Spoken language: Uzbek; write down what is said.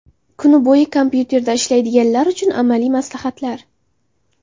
Kun bo‘yi kompyuterda ishlaydiganlar uchun amaliy maslahatlar.